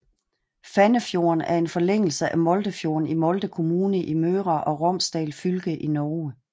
Fannefjorden er en forlængelse af Moldefjorden i Molde kommune i Møre og Romsdal fylke i Norge